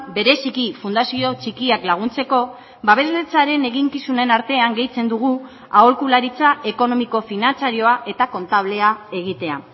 bereziki fundazio txikiak laguntzeko babesletzaren eginkizunen artean gehitzen dugu aholkularitza ekonomiko finantzarioa eta kontablea egitea